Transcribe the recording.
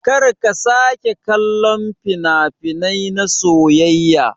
Karka sake kallon fina-finai na soyayya.